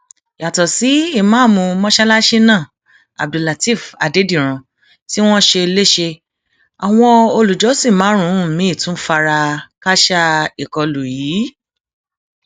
yàtọ sí ìmáàmù mọsálásí náà abdullátẹẹf àdèdírán tí wọn ṣe lẹsẹ àwọn olùjọsìn márùnún miín tún fara kááṣá ìkọlù yìí